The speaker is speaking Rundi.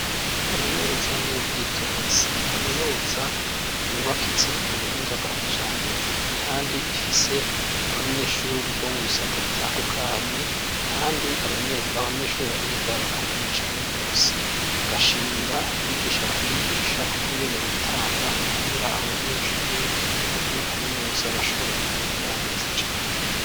Kaminuza y'Ubwitonzi ni Kaminuza yubakitse ku buhinga bwa kijambere kandi ifise abanyeshuri bo mu bisata bitandukanye kandi abanyeshuri bahiga bakamenya cane gose bagashimira abigisha bayigisha uko ngene bitanga mu kugira abo banyeshuri bakuiba kaminuza bashobore kumenya neza cane.